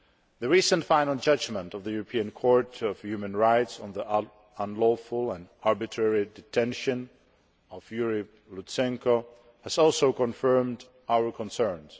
The recent final judgement of the European Court of Human Rights on the unlawful and arbitrary detention of Yuriy Lutsenko has also confirmed our concerns.